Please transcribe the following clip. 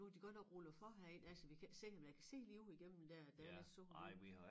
Nu har de godt nok rullet for herind altså vi kan ikke se om jeg kan se lige ud igennem dér at der er lidt sol det